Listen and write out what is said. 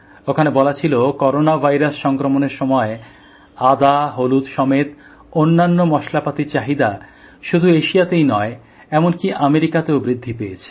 ওখানে বলা ছিল করোনা ভাইরাস সংক্রমণের সময়ে আদা হলুদ সমেত অন্যান্য মশলাপাতির চাহিদা শুধু এশিয়াতেই নয় এমনকি আমেরিকাতেও বৃদ্ধি পেয়েছে